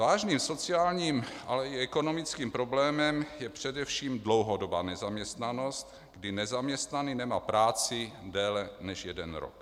Vážným sociálním, ale i ekonomickým problémem je především dlouhodobá nezaměstnanost, kdy nezaměstnaný nemá práci déle než jeden rok.